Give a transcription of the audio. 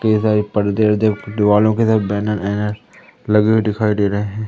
कई सारे पर्दे वर्दे दीवालों की तरह बैनर वैनर लगे हुए दिखाई दे रहे हैं।